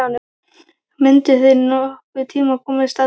Mundu þeir nokkurn tíma komast að því?